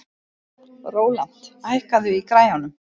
Rólant, hækkaðu í græjunum.